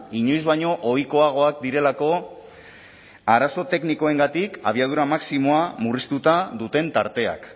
inoiz baino ohikoagoak direlako arazo teknikoengatik abiadura maximoa murriztuta duten tarteak